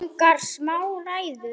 Við eigum þennan stað